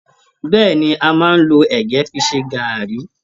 Bẹ́ẹ̀ni, a máa n lọ ẹgẹ fí ṣe garri.